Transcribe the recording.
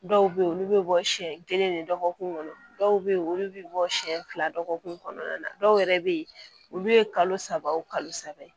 Dɔw bɛ yen olu bɛ bɔ siɲɛ kelen ni dɔgɔkun kɔnɔ dɔw bɛ yen olu bɛ bɔ siɲɛ fila dɔgɔkun kɔnɔna na dɔw yɛrɛ bɛ yen olu ye kalo saba o kalo saba